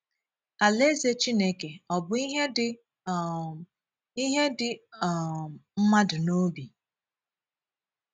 Alaeze Chineke Ọ̀ bù íhè Dị um íhè Dị um Mmadụ n’Obi?